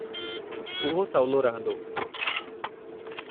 उहो सवलो रहंदो।